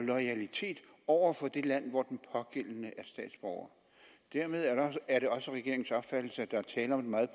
loyalitet over for det land hvor den pågældende statsborger dermed er er det også regeringens opfattelse at der er tale om et meget